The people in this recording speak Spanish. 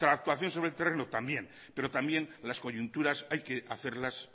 actuación sobre el terreno también pero también las coyunturas hay que hacerlas